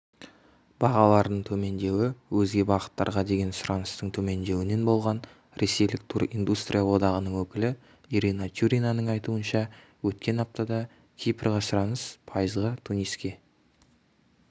бағалардың төмендеуі өзге бағыттарға деген сұраныстың төмендеуінен болған ресейлік туриндустрия одағының өкілі ирина тюринаның айтуынша өткен аптада кипрге сұраныс пайызға туниске